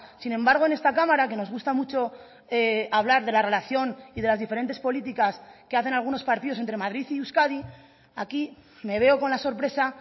sin embargo en esta cámara que nos gusta mucho hablar de la relación y de las diferentes políticas que hacen algunos partidos entre madrid y euskadi aquí me veo con la sorpresa